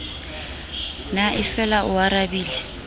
na e fela o arabile